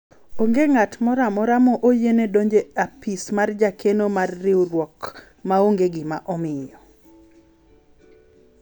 onge ng'at moro amora ma oyiene donjo e apis mar jakeno mar riwruok maonge gima omiyo